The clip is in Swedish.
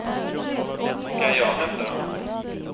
Ska jag hämta dem?